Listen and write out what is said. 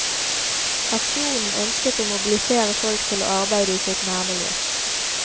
Aksjonen ønsket å mobilisere folk til å arbeide i sitt nærmiljø.